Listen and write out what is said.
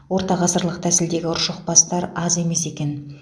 ортағасырлық тәсілдегі ұршықбастар аз емес екен